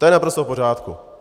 To je naprosto v pořádku.